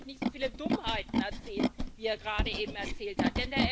Dann müsste er nämlich nicht so viele Dummheiten erzählen, wie er gerade eben erzählt hat.